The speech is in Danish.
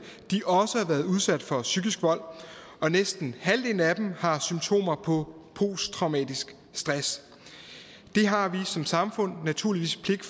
også har været udsat for psykisk vold og næsten halvdelen af dem har symptomer på posttraumatisk stress det har vi som samfund naturligvis pligt